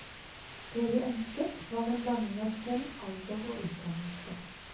Det vi ønsket, var en blanding av kjønn, alder og utdannelse.